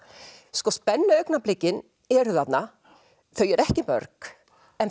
sko eru þarna þau eru ekki mörg en